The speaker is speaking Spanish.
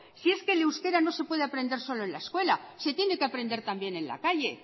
si es que el euskera no se puede aprender solo en la escuela se tiene que aprender también en la calle